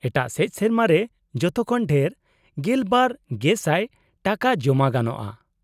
-ᱮᱴᱟᱜ ᱥᱮᱪ, ᱥᱮᱨᱢᱟ ᱨᱮ ᱡᱚᱛᱚ ᱠᱷᱚᱱ ᱰᱷᱮᱨ ᱑᱒,᱐᱐᱐ ᱴᱟᱠᱟ ᱡᱚᱢᱟ ᱜᱟᱱᱚᱜᱼᱟ ᱾